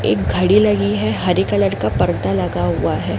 एक घड़ी लगी है। हरे कलर का पर्दा लगा हुआ है।